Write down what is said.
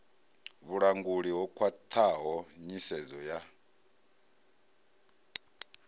vhulanguli ho khwathaho nyisedzo ya